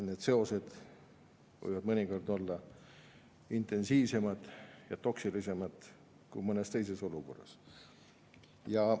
Need seosed võivad mõnikord olla intensiivsemad ja toksilisemad kui mõnes teises olukorras.